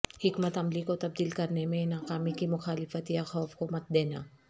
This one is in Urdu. حکمت عملی کو تبدیل کرنے میں ناکامی کی مخالفت یا خوف کو مت دینا